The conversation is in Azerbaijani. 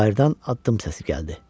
Bayırdan addım səsi gəldi.